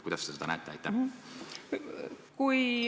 Kuidas te seda näete?